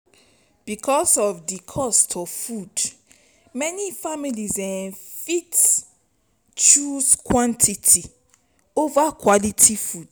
because of di cost of food many families fit choose quantity over quality food